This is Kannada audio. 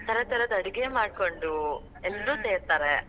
ತರ ತರದ ಅಡಗೆ ಮಾಡ್ಕೊಂಡು, ಸೇರ್ತಾರ.